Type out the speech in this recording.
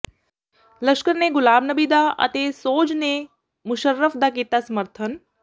ਲਸ਼ਕਰ ਨੇ ਗੁਲਾਮ ਨਬੀ ਦਾ ਅਤੇ ਸੋਜ ਨੇ ਮੁਸ਼ਰਫ ਦਾ ਕੀਤਾ ਸਮਰਥਨ